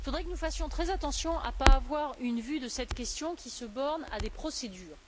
Nous devons faire très attention à ne pas avoir une vue de cette question qui se borne à des procédures.